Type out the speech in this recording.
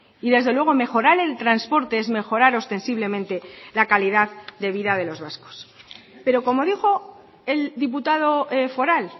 y desde luego mejorar el transporte es mejorar ostensiblemente la calidad de vida de los vascos pero como dijo el diputado foral